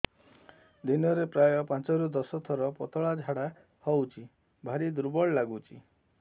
ଦିନରେ ପ୍ରାୟ ପାଞ୍ଚରୁ ଦଶ ଥର ପତଳା ଝାଡା ହଉଚି ଭାରି ଦୁର୍ବଳ ଲାଗୁଚି